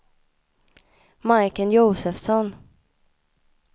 Majken Josefsson